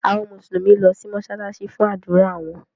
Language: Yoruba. Àwọn Mùsùlùmí lọ si mósálásí fun ádùra wọn.